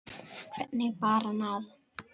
Hvernig bar það að?